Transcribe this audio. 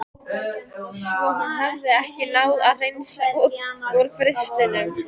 Svo hún hafði ekki náð að hreinsa út úr frystinum.